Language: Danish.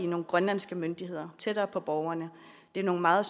nogle grønlandske myndigheder tættere på borgerne det er nogle meget